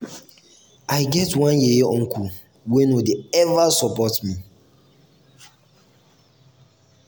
i get one yeye uncle wey no dey eva support me.